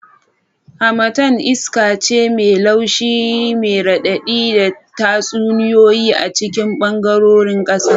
Harmattan iska ce mai laushi mai raɗaɗi da tatsuniyoyi a cikin ɓangarorin ƙasa.